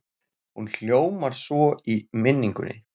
Hún hljómar svo í minningunni